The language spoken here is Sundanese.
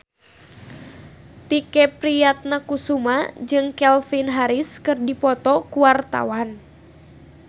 Tike Priatnakusuma jeung Calvin Harris keur dipoto ku wartawan